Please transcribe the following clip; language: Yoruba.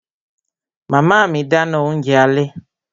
Màmá mi dáná oúnjẹ alẹ́